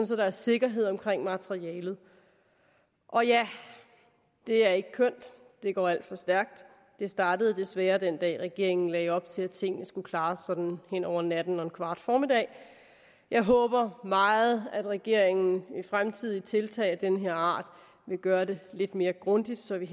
så der er sikkerhed omkring materialet og ja det er ikke kønt det er gået alt for stærkt det startede desværre den dag regeringen lagde op til at tingene skulle klares sådan hen over natten og en kvart formiddag jeg håber meget at regeringen ved fremtidige tiltag af den her art vil gøre det lidt mere grundigt så vi